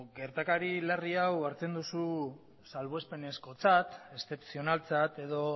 gertakari larri hau hartzen duzu salbuespenezkotzat eszepzionaltzat edo